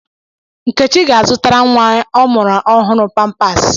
Nkechi ga-azụtara nwa ọ mụrụ ọhụrụ pampaasi.